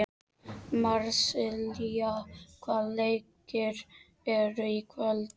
Marsilía, hvaða leikir eru í kvöld?